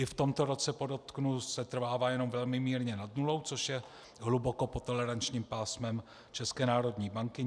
I v tomto roce, podotknu, setrvává jenom velmi mírně nad nulou, což je hluboko pod tolerančním pásmem České národní banky.